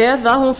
eða að hún feli